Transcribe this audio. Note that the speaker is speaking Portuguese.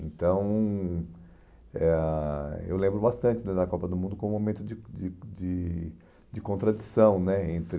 Então, eh ah eu lembro bastante né da Copa do Mundo como um momento de de de de contradição né entre...